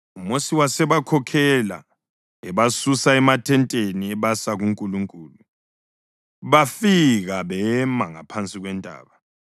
UMosi wasebakhokhela ebasusa emathenteni ebasa kuNkulunkulu. Bafika bema ngaphansi kwentaba.